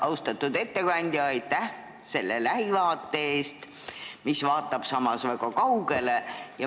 Austatud ettekandja, aitäh selle lähivaate eest, mis vaatab samas väga kaugele!